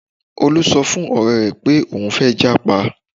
Olú sọ fún ọ̀rẹ́ rẹ̀ pé òun fẹ́ jápa